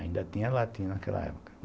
Ainda tinha latim naquela época.